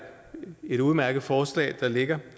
et udmærket forslag der ligger